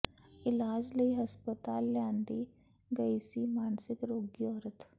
ਇਲਾਜ ਲਈ ਹਸਪਤਾਲ ਲਿਆਂਦੀ ਗਈ ਸੀ ਮਾਨਸਿਕ ਰੋਗੀ ਔਰਤ